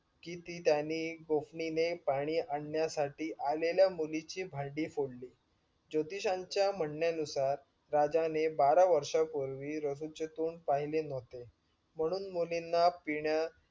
कि ती त्याने गोफणीने पाणी आणण्यासाठी आलेल्या मुलीची भांडी फोडली. जोतिषांच्या म्हणण्यानुसार राजाने बारा वर्षपूर्वी रसूलचे तोंड पहिले न्हवते म्हणून मुलींना पिण्या